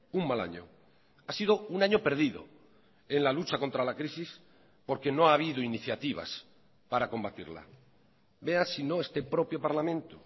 un mal año ha sido un año perdido en la lucha contra la crisis porque no ha habido iniciativas para combatirla vea si no este propio parlamento